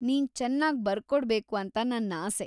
ನೀನ್ ಚೆನ್ನಾಗ್ ಬರ್ಕೊಡ್ಬೇಕು ಅಂತ ನನ್ನಾಸೆ.